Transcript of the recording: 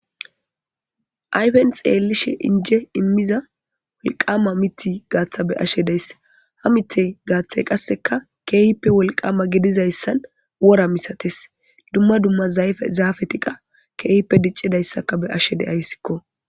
Ayfen xelishin injje imiza wolqqama mitta gata be'ashe de'ays. Ha mittay gatay qasekka kehippe wolqqama gidizayssan wora masatees. Dumma dumma zafeti qas kehippe dic'izayssa be'ashe de'ays.